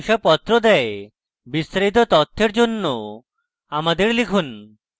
বিস্তারিত তথ্যের জন্য আমাদের লিখুন